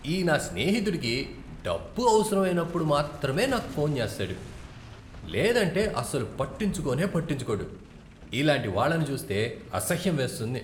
ఈ నా స్నేహితుడికి డబ్బు అవసరమైనప్పుడు మాత్రమే నాకు ఫోన్ చేస్తాడు, లేదంటే అసలు పట్టించుకోనే పట్టించుకోడు. ఇలాంటి వాళ్ళను చూస్తే అసహ్యం వేస్తుంది.